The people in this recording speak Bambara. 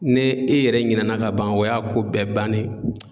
Ni e yɛrɛ ɲinɛna ka ban o y'a ko bɛɛ bannen ye